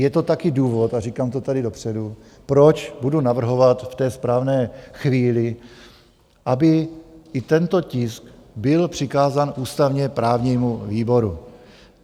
Je to také důvod a říkám to tady dopředu, proč budu navrhovat v té správné chvíli, aby i tento tisk byl přikázán ústavně-právnímu výboru.